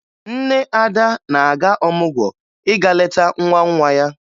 Nne Ada na-aga ọmụgwọ ịga leta nwa nwa ya